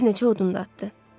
Bir neçə odun da atdı.